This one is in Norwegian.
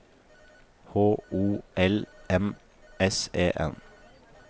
H O L M S E N